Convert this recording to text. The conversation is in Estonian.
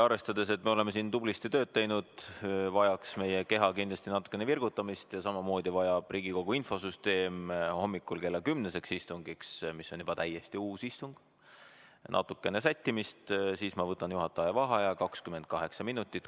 Arvestades, et me oleme siin tublisti tööd teinud, vajaks meie keha kindlasti natukene virgutamist ja samamoodi vajab Riigikogu infosüsteem hommikul kella kümneseks istungiks, mis on juba täiesti uus istung, natukene sättimist, siis ma võtan juhataja vaheaja 28 minutit.